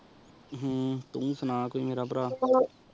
ਹਮ ਤੂ ਸੁਨਾ ਕੋਈ ਮੇਰਾ ਪਰ